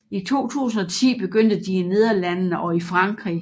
I 2010 begyndte de i Nederlandene og i Frankrig